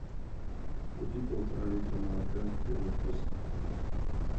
купи полтора литра молока первый вкус